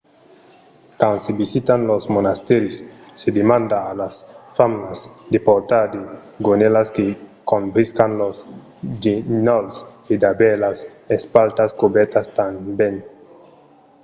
quand se visitan los monastèris se demanda a las femnas de portar de gonèlas que cobriscan los genolhs e d’aver las espatlas cobèrtas tanben